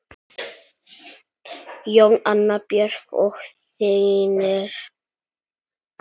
Jón, Anna Björk og synir.